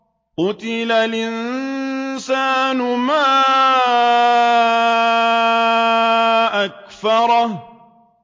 قُتِلَ الْإِنسَانُ مَا أَكْفَرَهُ